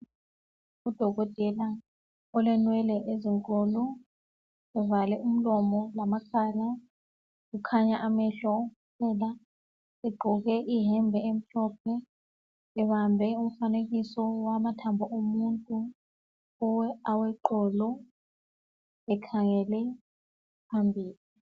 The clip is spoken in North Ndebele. Udokotela olenwele ezinkulu uvale umlomo lamakhala kukhanya amehlo kuphela egqoke iyembe emhlophe ebambe umfanekiso wamathambo omuntu aweqolo ekhangele phambili.